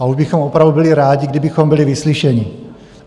A už bychom opravdu byli rádi, kdybychom byli vyslyšeni.